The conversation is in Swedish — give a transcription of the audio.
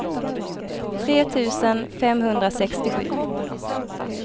tre tusen femhundrasextiosju